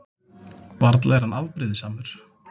Varla er hann afbrýðisamur?